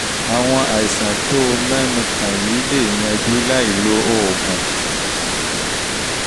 àwọn àìsàn tó tó o mẹ́nu kàn yìí lè yanjú láìlo oògùn